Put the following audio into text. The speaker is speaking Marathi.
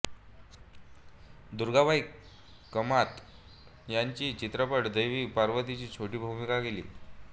दुर्गाबाई कामत यांनी या चित्रपटात देवी पार्वतीची छोटी भूमिका केली